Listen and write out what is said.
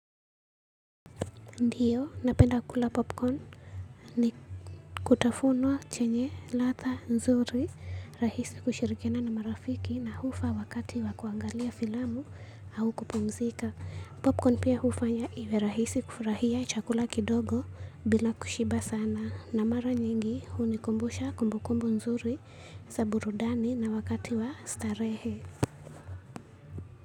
Ndiyo, napenda kula popcorn kwa sababu ni kitafunwa chenye ladha nzuri, rahisi kushirikiana na marafiki, na hufaa wakati wa kuangalia filamu au kupumzika. Popcorn pia hufanya iwe rahisi kufurahia chakula kidogo bila kushiba sana, na mara nyingi hunikumbusha kumbukumbu nzuri za burudani na wakati wa starehe.